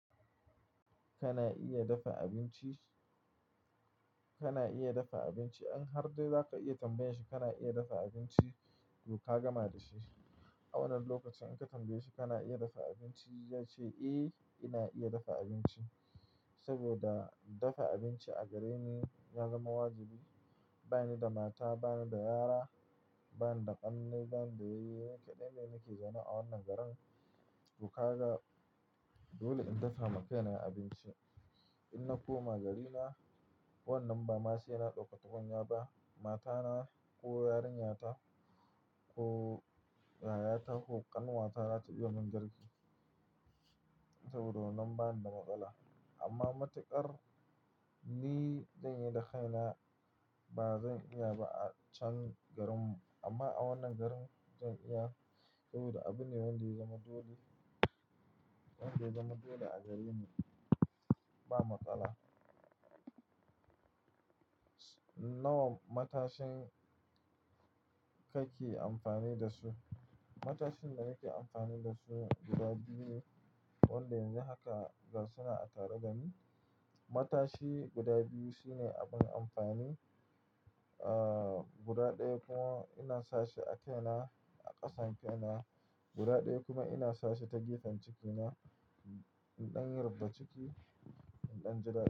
Kana iya dafa abinci? Kana iya dafa abinci? In har dai za ka iya tambaye shi kana iya dafa abinci, to ka gama da shi. A wannan lokacin in ka tambaye shi kana iya dafa abinci, ya ce eh ina iya dafa abinci saboda dafa abinci a gareni ya zama wajibi. Bani da mata, bani da yara, bani da ƙannai, bani da yayye, ni kaɗai ne nake zama a wannan garin. To ka ga, dole in dafa ma kaina abinci. In na koma garina, wannan ba ma sai na ɗaukar tukunya ba. Mata na ko yarinyata ko yayata ko ƙanwata za ta biyo min garki saboda wannan bani da matsala. Amma matuƙar ni zan yi da kaina, ba zan iya ba a can garin mu. Amma a wannan garin zan iya saboda abune wanda ya zama dole, wanda ya zama dole a gareni. Ba matsala. Nawa matashin kake amfani da su? Matashin da nake amfani da su guda biyu ne, wanda yanzu haka ga sunan a tare da ni. Matashi guda biyu sune abin amfani, ah, guda ɗaya kuma ina sashi a kaina, a ƙasan kaina. Guda ɗaya kuma ina sashi ta gefen cikina inɗin rubda ciki, inɗan ji dadi.